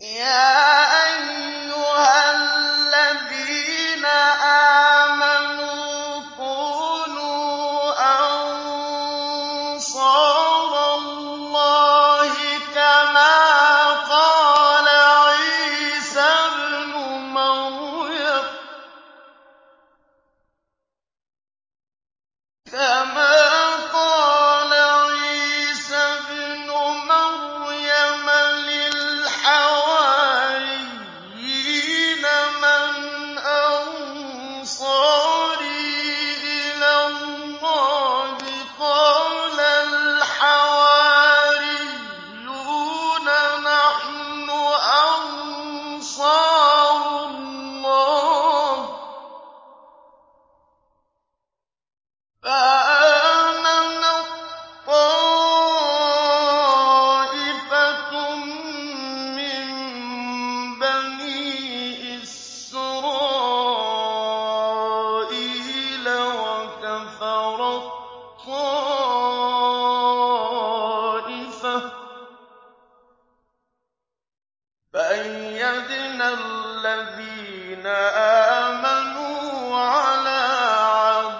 يَا أَيُّهَا الَّذِينَ آمَنُوا كُونُوا أَنصَارَ اللَّهِ كَمَا قَالَ عِيسَى ابْنُ مَرْيَمَ لِلْحَوَارِيِّينَ مَنْ أَنصَارِي إِلَى اللَّهِ ۖ قَالَ الْحَوَارِيُّونَ نَحْنُ أَنصَارُ اللَّهِ ۖ فَآمَنَت طَّائِفَةٌ مِّن بَنِي إِسْرَائِيلَ وَكَفَرَت طَّائِفَةٌ ۖ فَأَيَّدْنَا الَّذِينَ آمَنُوا عَلَىٰ